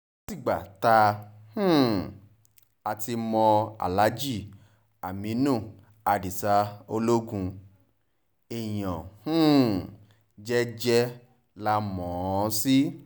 tìgbà tá um a ti mọ alhaji aminu adisa ologun èèyàn um jẹ́jẹ́ la mọ̀ ọ́n sí